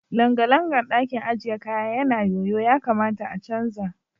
Langalangan ɗakin ajiye kaya yana yoyo ya kamata a canza.